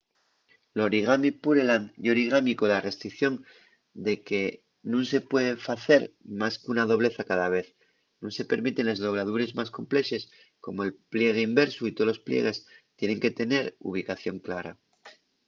l’origami pureland ye origami cola restricción de que nun se puede facer más qu’una doblez a cada vez nun se permiten les dobladures más complexes como’l pliegue inversu y tolos pliegues tienen que tener ubicación clara